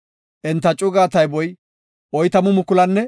Enta cugaa tayboy 40,500.